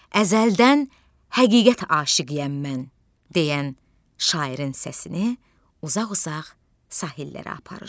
"Əzəldən həqiqət aşiqiyəm mən" deyən şairin səsini uzaq-uzaq sahillərə aparır.